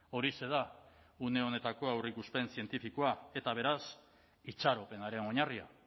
horixe da une honetako aurreikuspen zientifikoa eta beraz itxaropenaren oinarria